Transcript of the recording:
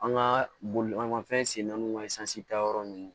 An ka bolimafɛn sen naaniwsi ta yɔrɔ ninnu